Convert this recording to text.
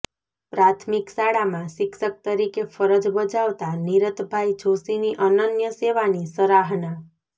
પ્રાથમિક શાળામાં શિક્ષક તરીકે ફરજ બજાવતા નિરતભાઈ જોષીની અનન્ય સેવાની સરાહના